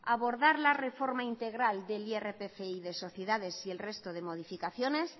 abordar la reforma integral del irpf y de sociedades y el resto de modificaciones